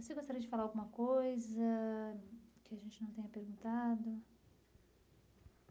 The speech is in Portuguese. Você gostaria de falar alguma coisa que a gente não tenha perguntado?